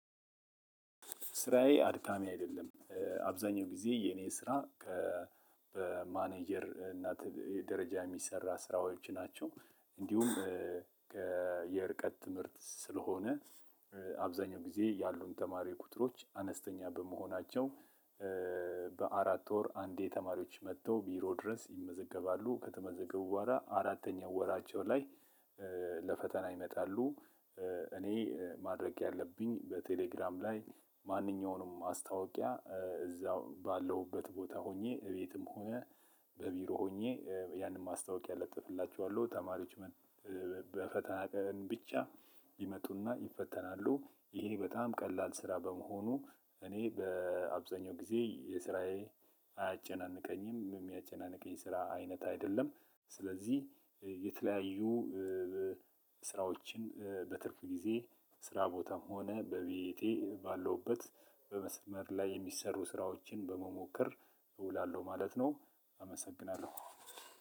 ስራዬ አድካሚ አይደለም አብዛኛው ጊዜ የእኔ ስራ በማኔጀር ትምህርት ደረጃ የሚሰራ ስራዎች ናቸው። እንዲሁም የርቀት ትምህርት ስለሆነ አብዛኛው ጊዜ ያሉን ተማሪ ቁጥሮች አነስተኛ በመሆናቸው። በአራት ወር አንዴ ተማሪዎች መጥተው ቢሮ ድረስ ይመዘገባሉ ከተመዘገቡ በኋላ አራተኛው ወራቸው ላይ ለፈተና ይመጣሉ። እኔ ማድረግ ያለብኝ በቴሌግራም ላይ ማንኛውንም ማስታወቂያ እዛው ባለሁበት ቦታ ሆኜ እቤትም ሆነ በቢሮ ሆኜ ያንን ማስታወቂያ ለጥፍላችኋለሁ ተማሪዎች። በፈተና ቀን ብቻ ይመጡና ይፈተናሉ ይሄ በጣም ቀላል ስራ በመሆኑ። እኔ በአብዛኛው ጊዜ የስራዬ አያጨናንቀኝም የሚያጨናንቀኝ ስራ አይነት አይደለም። ስለዚህ የተለያዩ ስራዎችን በትርፍ ጊዜ ስራ ቦታም ሆነ በቤቴ ባለውበት በመስመር ላይ የሚሰሩ ስራዎችን በመሞከር እውላለሁ ማለት ነው። አመሰግናለሁ።